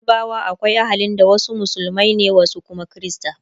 a yarbawa akwai ahalin da wasu musulmai ne wasu Kuma Krista